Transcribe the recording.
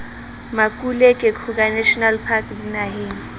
makuleke kruger national park dinaheng